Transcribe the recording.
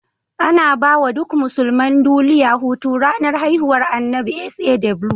Anabawa duk musulman duliya Hutu ranar hihuwar annabi SAW